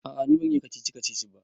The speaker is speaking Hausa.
A'a ni ban iya kacici-kacici ba